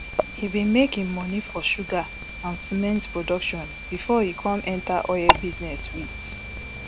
e bin make im money for sugar and cement production bifor e com enter oil business wit